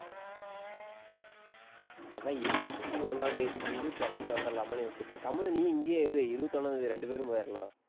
அதான் இருபத்தி ஒண்ணாம் தேதி கீது, கிளம்பி வந்துடலாமான்னு யோசிச்சிட்டு இருக்கேன். கம்முனு நீ இங்கேயே இரு, இருபத்தி ஒண்ணாம் தேதி, ரெண்டு பேரும் போயிரலாம்